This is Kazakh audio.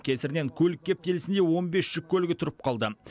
кесірінен көлік кептілісінде он бес жүк көлігі тұрып қалды